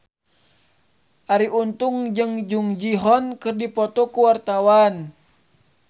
Arie Untung jeung Jung Ji Hoon keur dipoto ku wartawan